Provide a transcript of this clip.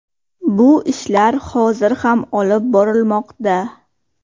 Bu ishlar hozir ham olib borilmoqda.